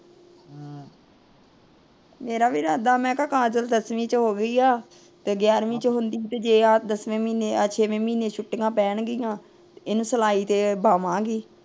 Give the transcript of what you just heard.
ਮੇਰਾ ਵੀ ਇਰਾਦਾ, ਮੈ ਕਿਹਾ ਕਾਜਲ ਦਸਵੀਂ ਚ ਹੋ ਗਈ ਏ। ਤੇ ਗਿਆਰਵੀ ਚ ਹੁੰਦੀ ਦਸਵੇਂ ਮਹੀਨੇ ਛੇਵੇਂ ਮਹੀਨੇ ਛੁੱਟੀਆਂ ਪੈਣਗੀਆਂ ਇਹਨੂੰ ਸਿਲਾਈ ਤੇ ਬਾਹਵਾਂ ਗੀ।